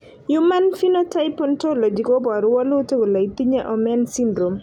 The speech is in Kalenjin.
human Phenotype Ontology koporu wolutik kole itinye Omenn syndrome.